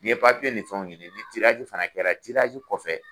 Ni ye ni fɛnw ɲini ni fana kɛra , kɔfɛ